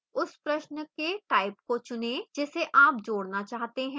उस प्रश्न के type को चुनें जिसे आप जोड़ना चाहते हैं